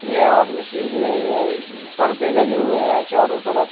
यहां आदमी सीख रहे हैं पर्दे लगे हुए हैं चारों तरफ--